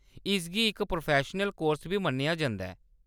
इसगी इक professional course बी मन्नेआ जंदा ऐ।